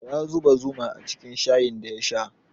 Ya zuba zuma cikin shayin da ya sha